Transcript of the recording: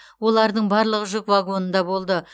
олардың барлығы жүк вагонында болды